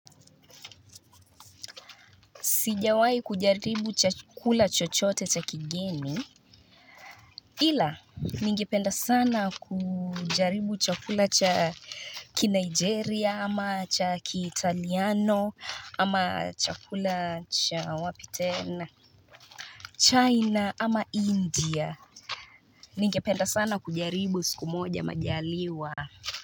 Sijawai kujaribu chakula chochote cha kigeni ila ningependa sana kujaribu chakula cha kinigeria ama cha kitaliano ama chakula cha wapi tena China ama India ningependa sana kujaribu siku moja majaliwa.